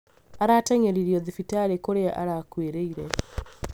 arateng'eririo thibitarĩ kũria arakuĩrĩire